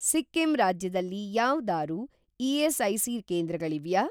ಸಿಕ್ಕಿಂ ರಾಜ್ಯದಲ್ಲಿ ಯಾವ್ದಾರೂ ಇ.ಎಸ್.ಐ.ಸಿ. ಕೇಂದ್ರಗಳಿವ್ಯಾ?